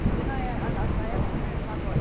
Porque na é a na essa época não é como agora.